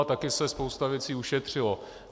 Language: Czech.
A taky se spoustu věcí ušetřilo.